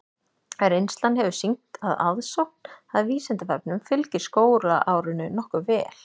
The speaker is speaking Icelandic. Reynslan hefur sýnt að aðsókn að Vísindavefnum fylgir skólaárinu nokkuð vel.